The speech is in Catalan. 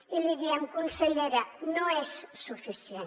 i li diem consellera que no és suficient